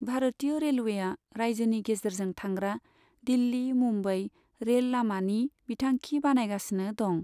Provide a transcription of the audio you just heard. भारतिय रेलवेआ राज्योनि गेजेरजों थांग्रा दिल्ली मुंबई रेल लामानि बिथांखि बानायगासिनो दं।